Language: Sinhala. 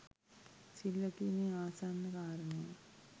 සිල් රැකීමේ ආසන්න කාරණය